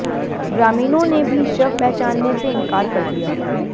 ग्रामीणों ने भी शव पहचानने से इनकार कर दिया